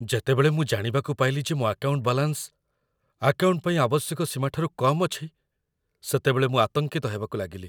ଯେତେବେଳେ ମୁଁ ଜାଣିବାକୁ ପାଇଲି ଯେ ମୋ ଆକାଉଣ୍ଟ ବାଲାନ୍ସ ଆକାଉଣ୍ଟ ପାଇଁ ଆବଶ୍ୟକ ସୀମାଠାରୁ କମ୍ ଅଛି, ସେତେବେଳେ ମୁଁ ଆତଙ୍କିତ ହେବାକୁ ଲାଗିଲି।